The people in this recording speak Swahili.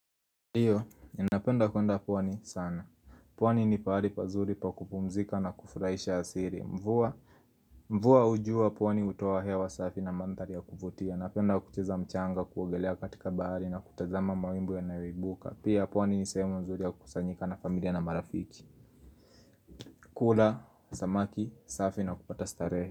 Ndio ninapenda kuenda pwani sana. Pwani ni pahari pazuri pa kupumzika na kufurahisha asiri. Mvua, mvua hujua pwani utoa hewa wa safi na manthari ya kuvutia. Napenda kucheza mchanga kuogelea katika bahari na kutazama mawimbu ya nayoibuka. Pia pwani ni sehemu mzuri ya kusanyika na familia na marafiki. Kula, samaki, safi na kupata starehe.